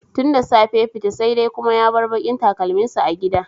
Tun da safe ya fita, sai dai kuma ya bar bakin takalminsa a gida.